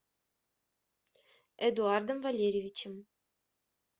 эдуардом валерьевичем